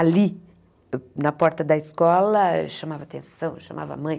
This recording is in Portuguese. Ali, na porta da escola, chamava atenção, chamava a mãe.